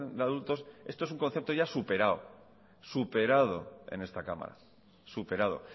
de adultos esto es un concepto ya superado superado en esta cámara superado